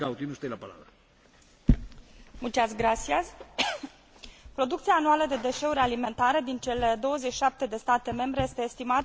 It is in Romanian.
Producția anuală de deșeuri alimentare din cele 27 de state membre este estimată la aproximativ 179 de kilograme pe cap de locuitor.